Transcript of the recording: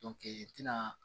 i tina